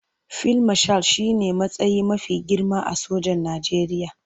Fil mashal shi ne matsayi mafi girma a sojan Najeriya.